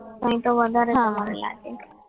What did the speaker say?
અહીંયા આગળ વધારે છે લાગે